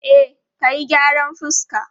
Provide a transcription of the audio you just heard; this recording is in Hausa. E, ka yi gyaran fuska.